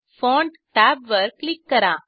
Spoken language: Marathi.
फॉन्ट टॅबवर क्लिक करा